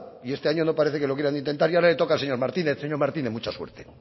y este año no parece que lo quieran intentar y ahora le toca al señor martínez señor martínez mucha suerte